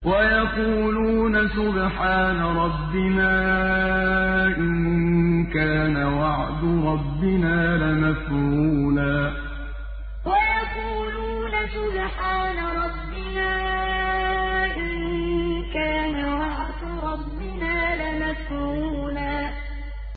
وَيَقُولُونَ سُبْحَانَ رَبِّنَا إِن كَانَ وَعْدُ رَبِّنَا لَمَفْعُولًا وَيَقُولُونَ سُبْحَانَ رَبِّنَا إِن كَانَ وَعْدُ رَبِّنَا لَمَفْعُولًا